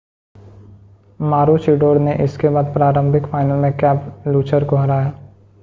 मारूचिडोर ने इसके बाद प्रारंभिक फाइनल में कैबुलचर को हराया